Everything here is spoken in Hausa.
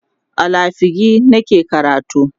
a lafiagi nake karatu